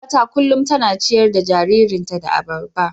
Yar uwata kullum tana ciyar da jaririnta da abarba.